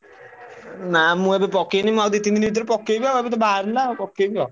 ନା ମୁଁ ଏବେ ପକେଇନି। ମୁଁ ଆଉ ଦି ତିନି ଦିନି ଭିତରେ ପକେଇବି ଆଉ ଏବେତ ବାହାରିଲା ପକେଇବି ଆଉ।